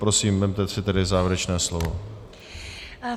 Prosím, vezměte si tedy závěrečné slovo.